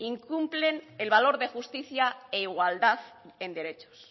incumplen el valor de justicia e igualdad en derechos